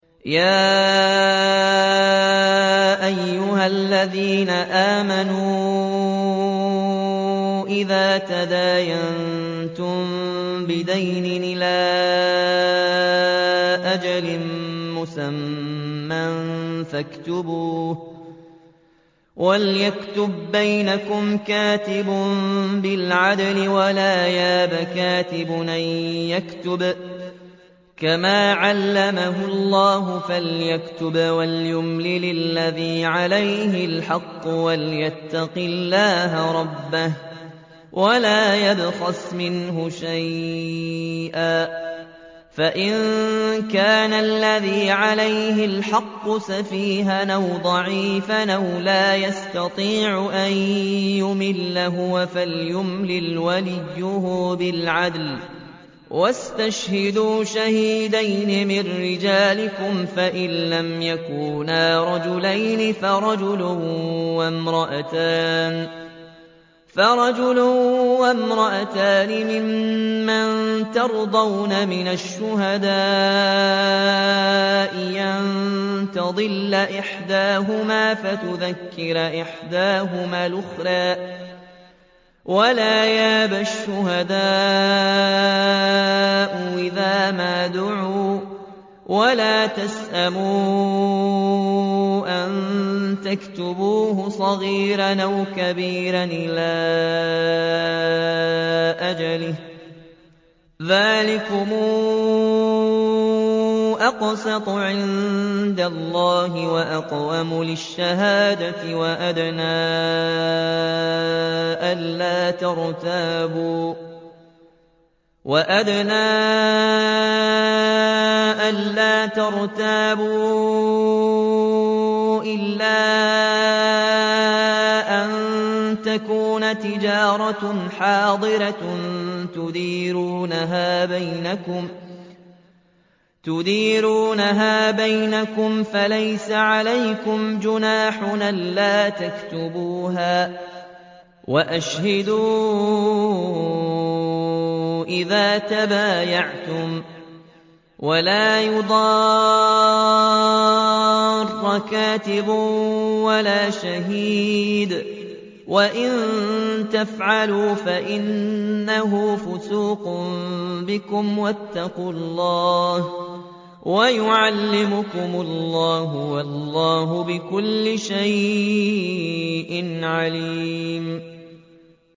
يَا أَيُّهَا الَّذِينَ آمَنُوا إِذَا تَدَايَنتُم بِدَيْنٍ إِلَىٰ أَجَلٍ مُّسَمًّى فَاكْتُبُوهُ ۚ وَلْيَكْتُب بَّيْنَكُمْ كَاتِبٌ بِالْعَدْلِ ۚ وَلَا يَأْبَ كَاتِبٌ أَن يَكْتُبَ كَمَا عَلَّمَهُ اللَّهُ ۚ فَلْيَكْتُبْ وَلْيُمْلِلِ الَّذِي عَلَيْهِ الْحَقُّ وَلْيَتَّقِ اللَّهَ رَبَّهُ وَلَا يَبْخَسْ مِنْهُ شَيْئًا ۚ فَإِن كَانَ الَّذِي عَلَيْهِ الْحَقُّ سَفِيهًا أَوْ ضَعِيفًا أَوْ لَا يَسْتَطِيعُ أَن يُمِلَّ هُوَ فَلْيُمْلِلْ وَلِيُّهُ بِالْعَدْلِ ۚ وَاسْتَشْهِدُوا شَهِيدَيْنِ مِن رِّجَالِكُمْ ۖ فَإِن لَّمْ يَكُونَا رَجُلَيْنِ فَرَجُلٌ وَامْرَأَتَانِ مِمَّن تَرْضَوْنَ مِنَ الشُّهَدَاءِ أَن تَضِلَّ إِحْدَاهُمَا فَتُذَكِّرَ إِحْدَاهُمَا الْأُخْرَىٰ ۚ وَلَا يَأْبَ الشُّهَدَاءُ إِذَا مَا دُعُوا ۚ وَلَا تَسْأَمُوا أَن تَكْتُبُوهُ صَغِيرًا أَوْ كَبِيرًا إِلَىٰ أَجَلِهِ ۚ ذَٰلِكُمْ أَقْسَطُ عِندَ اللَّهِ وَأَقْوَمُ لِلشَّهَادَةِ وَأَدْنَىٰ أَلَّا تَرْتَابُوا ۖ إِلَّا أَن تَكُونَ تِجَارَةً حَاضِرَةً تُدِيرُونَهَا بَيْنَكُمْ فَلَيْسَ عَلَيْكُمْ جُنَاحٌ أَلَّا تَكْتُبُوهَا ۗ وَأَشْهِدُوا إِذَا تَبَايَعْتُمْ ۚ وَلَا يُضَارَّ كَاتِبٌ وَلَا شَهِيدٌ ۚ وَإِن تَفْعَلُوا فَإِنَّهُ فُسُوقٌ بِكُمْ ۗ وَاتَّقُوا اللَّهَ ۖ وَيُعَلِّمُكُمُ اللَّهُ ۗ وَاللَّهُ بِكُلِّ شَيْءٍ عَلِيمٌ